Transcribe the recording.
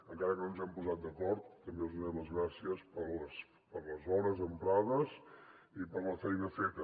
encara que no ens hem posat d’acord també els hi donem les gràcies per les hores emprades i per la feina feta